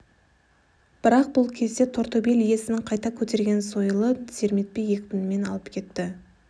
бірақ бұл кезде тортөбел иесінің қайта көтерген сойылып серметпей екпінімен алып кетті